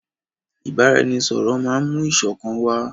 Ìbáraẹnisọ̀rọ̀ máà mú ìṣọ̀kan wá.